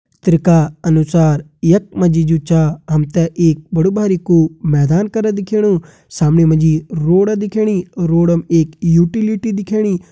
चित्र का अनुसार यख मा जी जु छा हम तें एक बड़ु बारिकु मैदान कर दिखेणु सामणी मा जी रोड दिखेणी रोडम एक यूटिलिटी दिखेणी।